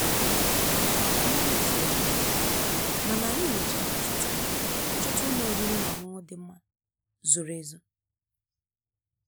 Mmiri jidere anyị, mana anyị mechara chọta chọta ụlọ oriri na ọṅụṅụ dị mma, zoro ezo.